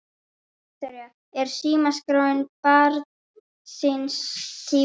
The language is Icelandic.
Viktoría: Er símaskráin barn síns tíma?